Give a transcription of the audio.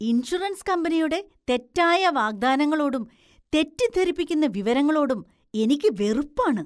Insurance കമ്പനിയുടെ തെറ്റായ വാഗ്ദാനങ്ങളോടും തെറ്റിദ്ധരിപ്പിക്കുന്ന വിവരങ്ങളോടും എനിക്ക് വെറുപ്പാണ്.